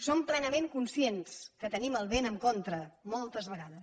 som plenament conscients que tenim el vent en contra moltes vegades